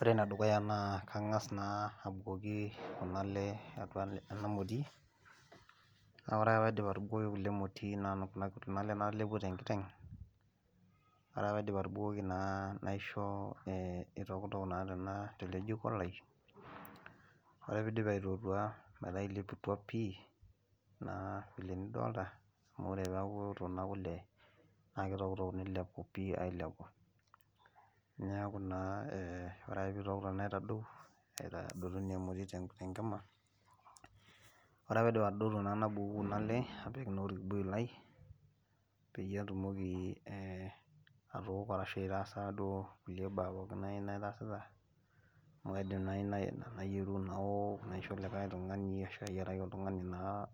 Ore enedukuya naa kangas naa abukoki kuna ale atua ena moti, naa ore ake paidip atubukoki kule atua emoti kuna ale natelepuo tenkiteng , ore paidip atubukoki naisho itotok naa tele jiko lai , ore pidip aitootua metaa ileputua pi naa vile nidoilta amu ore peaku ekuto nena kule naa kitoktok pi nilepu, ailepu, niaku naa ore pitoktok niaku etadoutuo , ore paidip atodotu naa nabuku kuna ale apik naa orkibuyu lai peyie atumoki atooko ashu aitaasa duo kulie baa nai naitasita amu kaidimi nai nayieru naoshu, naisho likae tungani ashu ayieraki oltungani naa ,